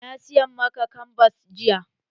Na saya maka kanbas jiya.